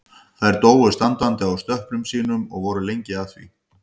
Þær dóu standandi á stöplum sínum og voru lengi að því.